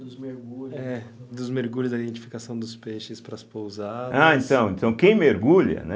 Dos mergulhos... É, dos mergulhos, da identificação dos peixes para as pousadas... Ah, então, então quem mergulha, né?